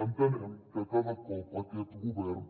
entenem que cada cop aquest govern